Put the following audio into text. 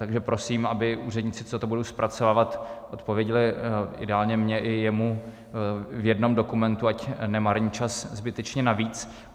Takže prosím, aby úředníci, co to budou zpracovávat, odpověděli ideálně mně i jemu v jednom dokumentu, ať nemarní čas zbytečně navíc.